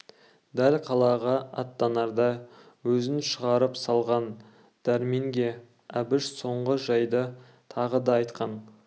дәл қалаға аттанарда өзін шығарып салған дәрменге әбіш соңғы жайды тағы да айтқан